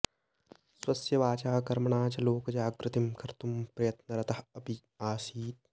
स्वस्य वाचा कर्मणा च लोकजागृतिं कर्तुं प्रयत्नरतः अपि आसीत्